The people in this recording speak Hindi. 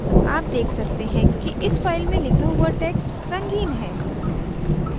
आप देख सकते हैं कि इस file में लिखा हुआ text रंगीन है